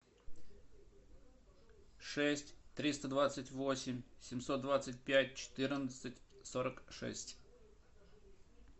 шесть триста двадцать восемь семьсот двадцать пять четырнадцать сорок шесть